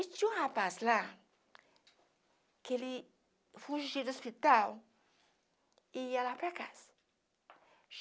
E tinha um rapaz lá que ele fugiu do hospital e ia lá para casa.